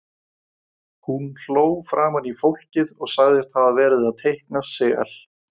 Hún hló framan í fólkið og sagðist hafa verið að teikna sel.